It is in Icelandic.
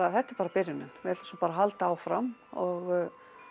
þetta er bara byrjunin við ætlum svo bara að halda áfram og